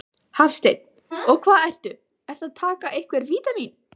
Hafsteinn: Og hvað ertu, ertu að taka einhver vítamín?